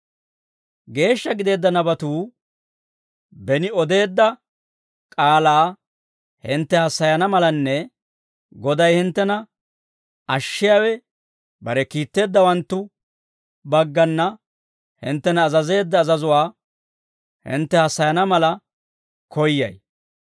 Geeshsha gideedda nabatuu beni odeedda k'aalaa hintte hassayana malanne Goday hinttena ashshiyaawe, bare kiitteeddawanttu baggana hinttena azazeedda azazuwaa hintte hassayana mala koyyay.